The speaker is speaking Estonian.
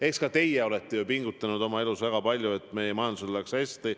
Eks ka teie olete oma elus väga palju pingutanud, et meie majandusel läheks hästi.